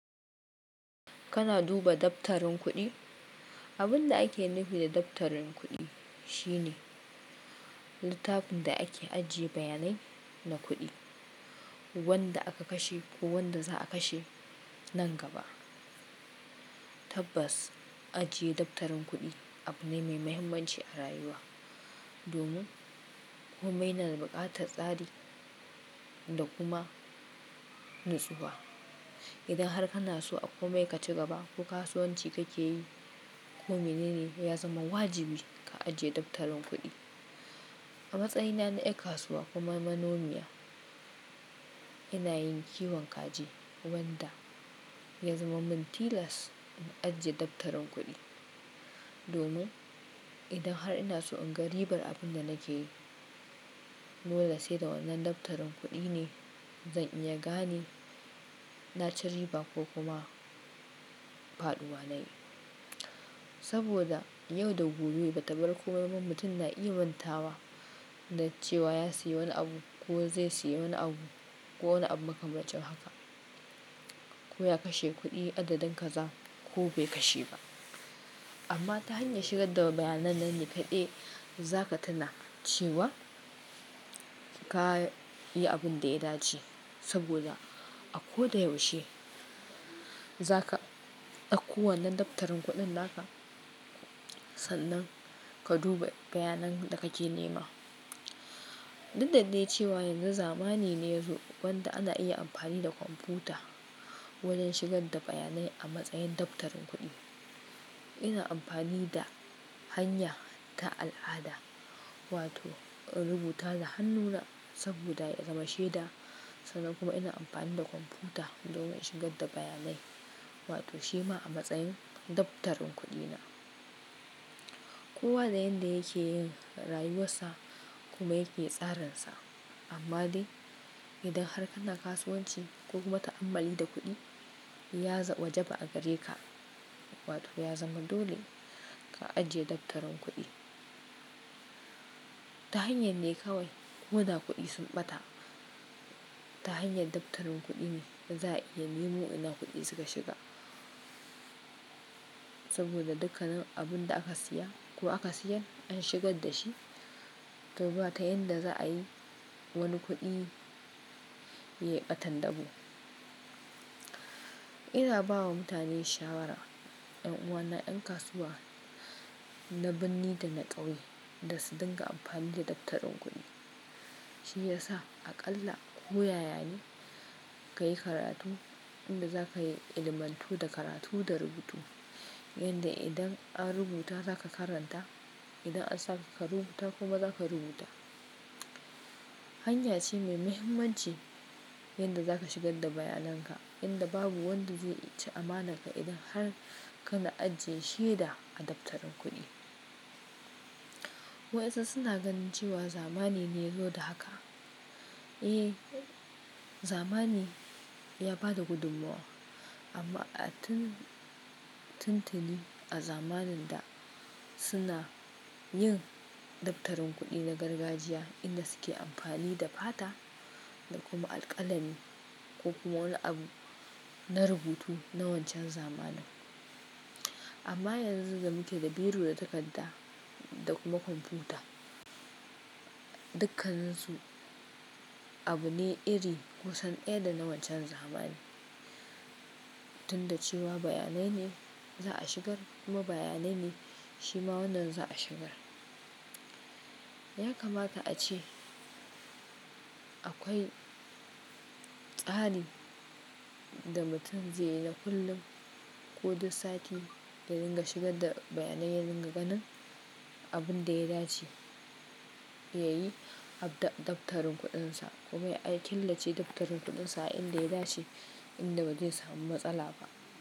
Kana duba daftarin kuɗi? Abun da ake nufi da daftarin kuɗi shine littafin da ake ajiye bayanai na kuɗi wanda aka kashe ko wanda za a kashe nan gaba. Tabbas, ajiye daftarin kuɗi abu ne mai mahimmanci a rayuwa domin komai na da buƙatar tsari da kuma nutsuwa. Idan har kana so a komai ka ci gaba ko kasuwanci kake yi ko mene ne ya zama wajibi ka ajiye daftarin kuɗi. A matsayina na yar kasuwa kuma manomiya ina yin kiwon kaji wanda ya zama min tilas in ajiye daftarin kuɗi domin idan har ina so in ga ribar abin da nake yi dole sai da wannan daftarin kuɗi ne zan iya gane na ci riba ko kuma faɗuwa na yi. Saboda yau da gobe ba tabar komai ba mutum na iya mantawa da cewa ya sayi wani abu ko zai sayi wani abu ko wani abu makamancin haka ko ya kashe kuɗi adadin kaza ko bai kashe ba. Amma ta hanyar shigar da bayanan nan ni kaɗai za ka tuna cewa ka yi abin da ya dace saboda a ko da yaushe za ka ɗauko wannan daftarin kuɗin naka sannan ka duba bayanan da kake nema. Duk da dai cewa yanzu zamani ne yazo wanda ana iya amfani da kwamfuta wajen shigar da bayanai a matsayin daftarin kuɗi. Ina amfani da hanya ta al'ada wato rubuta da hannuna saboda ya zama shaida sannan kuma ina amfani da kwamfuta domin shigar da bayanai wato shi ma a matsayin daftarin kuɗina. Kowa da yanda yake yin rayuwarsa kuma yake tsarinsa. Amma dai idan har kana kasuwanci ko kuma ta'amalli da kuɗi ya zama wajaba a gare ka wato ya zama dole ka ajiye daftarin kuɗi. Ta hanyar ne kawai ko da kuɗi sun ɓata. Ta hanyar daftarin kuɗi ne za iya nemo ina kuɗi suka shiga saboda dukkan abun da aka siya ko aka siyar an shigar da shi to ba ta yanda za a yi wani kuɗi ya ɓatan dabo ina ba wa mutane shawara, 'yan uwana, 'yan kasuwa na binne da na ƙauye da su dinga amfani da daftarin kuɗi. Shi ya sa aƙalla ko ya yane ka yi karatu inda za ka yi ilmantu da karatu da rubutu yanda idan an rubuta za ka karanta idan an sa ka ka rubuta kuma za ka rubuta. Hanya ce mai mahimmanci yanda za ka shigar da bayanan ka inda babu wanda zai ci amanar ka idan har kana ajiye shaida a daftarin kuɗi. Wasu suna ganin cewa zamani ne ya zo da haka. Eh, zamani ya ba da gudummawa amma a tun tun tuni a zamanin da suna yin daftarin kuɗi na gargajiya inda suke amfani da fata da kuma alƙalami ko kuma wani abu na rubutu na wancan zamanin. Amma yanzu da muke da biro da takarda da kuma kwamfuta dukkan su abu ne iri kusan ɗaya da na wancan zamani tunda cewa bayanai ne za a shigar kuma bayanai ne shi ma wannan za a shigar. Ya kamata a ce akwai tsari da mutum zai yi na kullum ko duk sati ya dinga shigar da bayanai ya dinga ganin abun da ya dace ya yi ab da daftarin kuɗinsa kuma ya ƙillace daftarin kuɗinsa inda ya dace inda ba zai samu matsala ba.